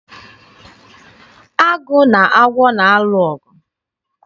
Agụ na agwọ na-alụ ọgụ.